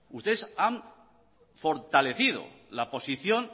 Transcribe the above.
ustedes han fortalecido la posición